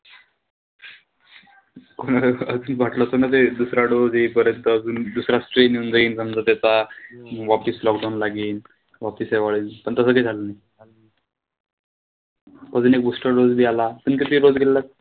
कोणाला तस वाटलं त नसेल दुसरा dose येईपर्यंत अजून दुसरा strain येऊन जाईन त्याचा. म वापीस lockdown लागीन. वापीस वाढेल. पण तसंच कांही झालं नाही, अजून एक booster dose बी आला.